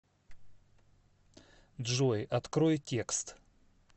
джой открой текст